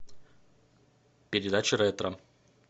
передача ретро